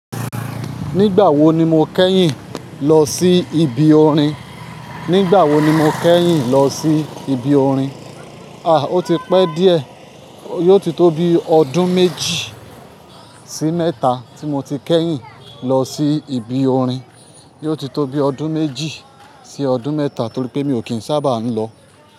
Nígbà wo ni mo kẹ́yìn lọ sí ibi orin? Nígbà wo ni mo kẹ́yìn lọ sí ibi orin? A! Ó ti pẹ́ díẹ̀. Yóò ti tó bi ọdún méjì sí mẹ́ta tí mo ti kẹ́yìn lọ sí ibi orin. Yóò ti tó bi ọdún méjì sí ọdún mẹ́ta torí pé mi ò kín sábà ń lọ.